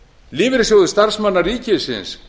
lífeyrissjóður starfsmanna ríkisins